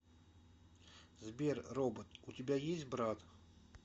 сбер робот у тебя есть брат